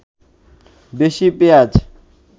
বেশি পেঁয়াজ